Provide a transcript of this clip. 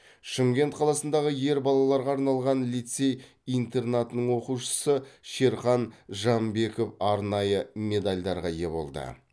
шымкент қаласындағы ер балаларға арналған лицей интернатының оқушысы шерхан жамбеков арнайы медальдарға ие болды